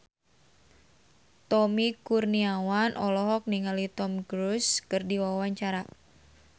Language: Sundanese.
Tommy Kurniawan olohok ningali Tom Cruise keur diwawancara